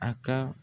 A ka